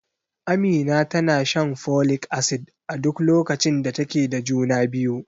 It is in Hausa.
Amina tana shan folik acid a duk lokacin da take da juna biyu.